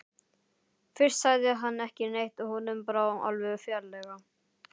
Fyrst sagði hann ekki neitt, honum brá alveg ferlega.